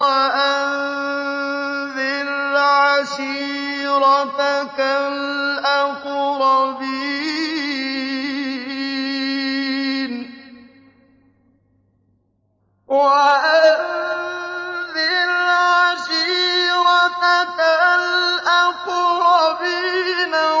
وَأَنذِرْ عَشِيرَتَكَ الْأَقْرَبِينَ